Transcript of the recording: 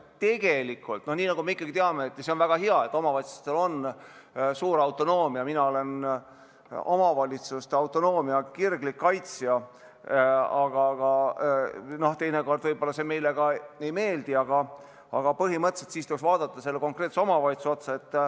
Tegelikult, nagu me teame, on omavalitsustel suur autonoomia – see on väga hea, mina olen omavalitsuste autonoomia kirglik kaitsja –, kuigi teinekord see meile võib-olla ei meeldi, aga põhimõtteliselt tuleks niisuguses olukorras vaadata konkreetse omavalitsuse otsa.